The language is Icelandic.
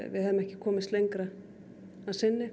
við hefðum ekki komist lengra að sinni